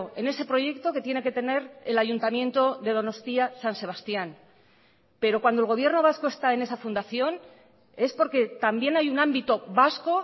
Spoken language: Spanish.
en ese proyecto que tiene que tener el ayuntamiento de donostia san sebastián pero cuando el gobierno vasco está en esa fundación es porque también hay un ámbito vasco